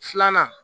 Filanan